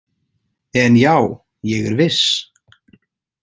En já, ég er viss.